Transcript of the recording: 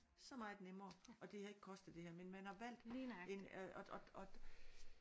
Så meget nemmere og det havde ikke kostet det her men man har valgt en og og og